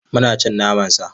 Muna cin naman sa.